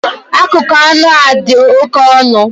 Akụkụ anụ a dị oke ọnụ